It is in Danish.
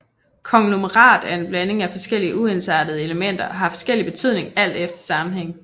Konglomerat er en blanding af forskellige uensartede elementer og har forskellige betydninger alt efter sammenhængen